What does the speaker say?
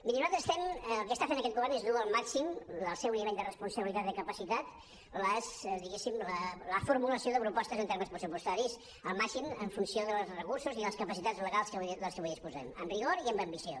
mirin el que està fent aquest govern és dur al màxim el seu nivell de responsabilitat de capacitat diguéssim la formulació de propostes en termes pressupostaris al màxim en funció dels recursos i de les capacitats legals de les que avui disposem amb rigor i amb ambició